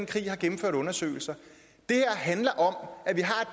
krig har gennemført undersøgelser det her handler om at vi